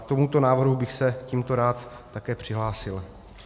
K tomuto návrhu bych se tímto rád také přihlásil.